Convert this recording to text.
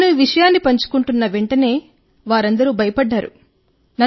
నేను ఈ విషయాన్ని పంచుకున్న వెంటనే వారందరూ భయపడ్డారు